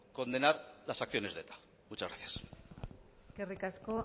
condenar las acciones de eta muchas gracias eskerrik asko